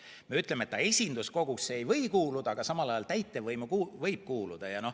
Me muidu ütleme, et ta esinduskogusse ei või kuuluda, aga samal ajal täitevvõimu võib kuuluda.